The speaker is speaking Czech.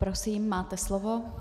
Prosím, máte slovo.